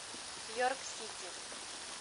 йорк сити